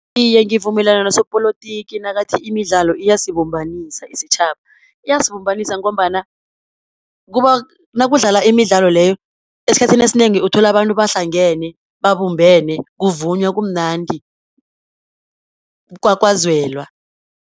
Iye ngivumelana nosopolotiki nakathi imidlalo iyasibumbanisa isitjhaba, iyasibumbanisa ngombana nakudlala imidlalo leyo, esikhathini esinengi uthola abantu bahlangene, babumbane kuvunywa kumnandi, kukwakwazelwa.